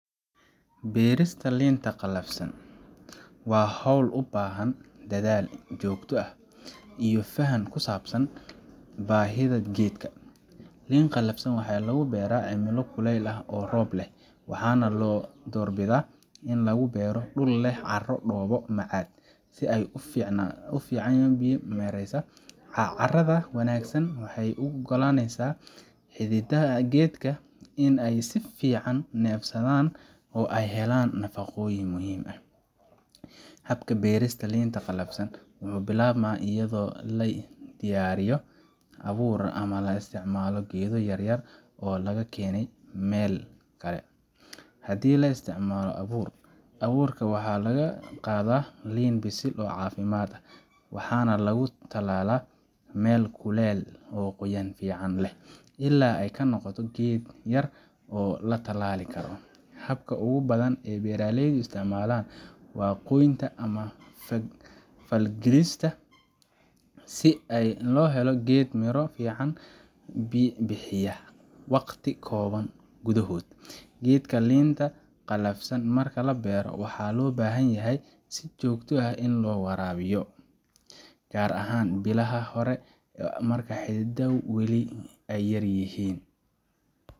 Beerista liin qalafsan waa hawl u baahan dadaal joogto ah iyo faham ku saabsan baahiyaha geedkan. Liin qalafsan waxaa lagu beeraa cimilo kuleyl ah oo roob leh, waxaana la doorbidaa in lagu beero dhul leh carro dhoobo macad ah oo si fiican u biyo mareysa. Carrada wanaagsan waxay u oggolaaneysaa xididdada geedka in ay si fiican u neefsadaan oo ay helaan nafaqooyinka muhiimka u ah korriinta. Habka beerista liinta qalafsan wuxuu bilaabmaa iyadoo la diyaariyo abuur ama la isticmaalo geedo yaryar oo laga keenay meel kale. Haddii la isticmaaloabuur, abuurka waxaa laga qaadaa liin bisil oo caafimaad qabta, waxaana lagu tallaalaa meel kulul oo qoyaan fiican leh ilaa uu ka noqdo geed yar oo la tallaali karo. Habka ugu badan ee beeraleydu isticmaalaan waa gooynta ama falgalista, si loo helo geed miro fiican bixiya waqti kooban gudahood. Geedka liinta qalafsan marka la beero, waxaa loo baahan yahay in si joogto ah loo waraabiyo, gaar ahaan bilaha hore marka xididdadu weli yaryihiin